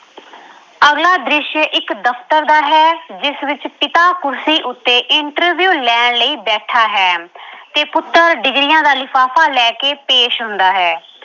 ਅਗਲਾ ਦ੍ਰਿਸ਼ ਇੱਕ ਦਫਤਰ ਦਾ ਹੈ ਜਿਸ ਵਿੱਚ ਪਿਤਾ ਕੁਰਸੀ ਉੱਤੇ interview ਲੈਣ ਲਈ ਬੈਠਾ ਹੈ ਤੇ ਪੁੱਤਰ degrees ਦਾ ਲਿਫਾਫਾ ਲੈ ਕੇ ਪੇਸ਼ ਹੁੰਦਾ ਹੈ।